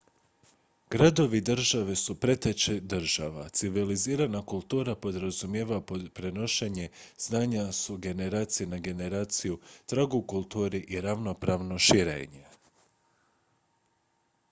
gradovi-države su preteče država civilizirana kultura podrazumijeva prenošenje znanja s generacije na generaciju trag u kulturi i ravnopravno širenje